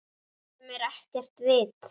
Sem er ekkert vit.